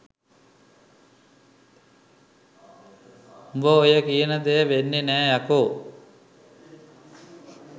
උඹ ඔය කියන දෙය වෙන්නේ නෑ යකෝ.